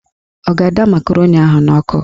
Ọ ga-ada makaroni ahụ n'ọkụ